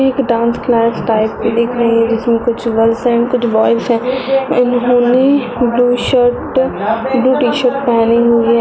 एक dance class type की दिख रही हैजीसमें कुछ गर्ल्स हैंकुछ बोयस है इन्होंने blue shirt blue T shirt फेहनी हुई है।